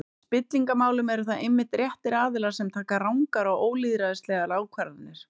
Í spillingarmálum eru það einmitt réttir aðilar sem taka rangar og ólýðræðislegar ákvarðanir.